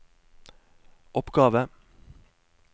oppgave